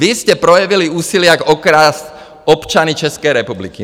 Vy jste projevili úsilí, jak okrást občany České republiky.